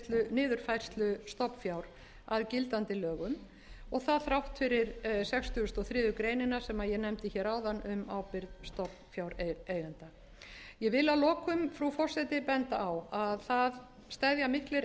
niðurfærslu stofnfjár að gildandi lögum og það þrátt fyrir sextugustu og þriðju grein sem ég nefndi hér áðan um ábyrgð stofnfjáreigenda ég vil að lokum frú forseti benda að það steðja miklir